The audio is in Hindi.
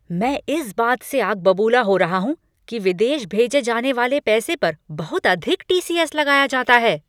मैं इस बात से आग बबूला हो रहा हूँ कि विदेशी भेजे जाने वाले पैसे पर बहुत अधिक टी. सी. एस. लगाया जाता है।